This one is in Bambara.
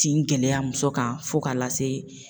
Tin gɛlɛya muso kan fo ka lase